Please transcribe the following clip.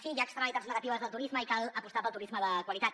sí hi ha externalitats negatives del turisme i cal apostar pel turisme de qualitat